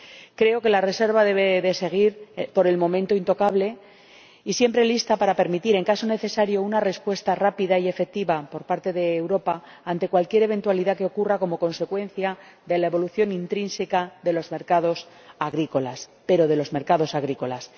Creo que la reserva debe seguir, por el momento, intocable y estar siempre lista para permitir, en caso necesario, una respuesta rápida y efectiva por parte de Europa ante cualquier eventualidad que ocurra como consecuencia de la evolución intrínseca de los mercados agrícolas pero de los mercados agrícolas.